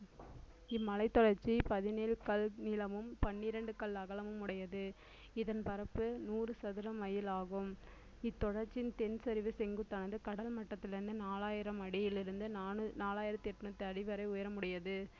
இம்மலைத் தொடர்ச்சி பதினேழு கல் நீளமும் பன்னிரண்டு கல் அகலமும் உடையது இதன் பரப்பு நூறு சதுர மைல் ஆகும் இத்தொடர்ச்சியின் தென் சரிவு செங்குத்தானது கடல் மட்டத்திலிருந்து நாலாயிரம் அடியிலிருந்து நாலு~ நாலாயிரத்து எண்ணூத்தி அடிவரை உயரம் உடையது